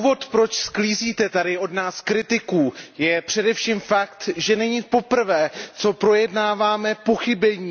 Důvodem, proč sklízíte tady od nás kritiku, je především fakt, že není poprvé, co projednáváme pochybení.